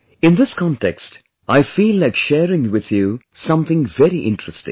In this context I feel like sharing with you something very interesting